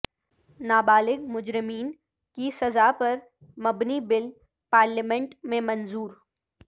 نابالغ مجرمین کی سزا پر مبنی بل پارلیمنٹ میں منظور